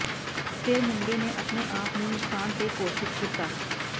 ਫਿਰ ਮੁੰਡੇ ਨੇ ਆਪਣੇ ਆਪ ਨੂੰ ਨੁਕਸਾਨ ਤੇ ਘੋਸ਼ਿਤ ਕੀਤਾ